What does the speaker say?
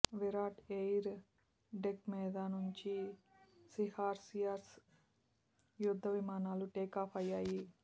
Virat air deck మీద నుంచి sea harriers యుద్ధ విమానాలు టేకాఫ్ అయ్యాయి